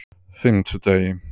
fimmtudegi